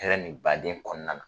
Hɛrɛ ni baden kɔnɔna na.